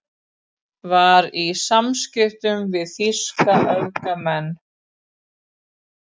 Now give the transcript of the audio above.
Var í samskiptum við þýska öfgamenn